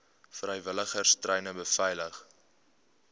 vrywilligers treine beveilig